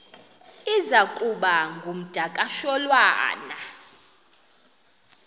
iza kuba ngumdakasholwana